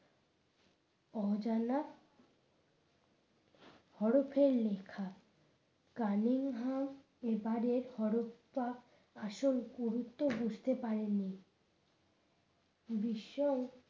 অজানা হরফের লেখা কালিঙ্গ হ্যাম এবারের হরপ্পা আসল গুরুত্ব বুঝতে পারেনি। বিশ্ব